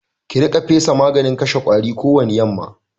Ki riƙa fesa maganin kashe ƙwari kowani yamma!